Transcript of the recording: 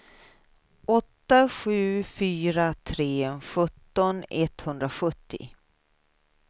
åtta sju fyra tre sjutton etthundrasjuttio